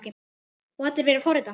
Og allir vilja forrita?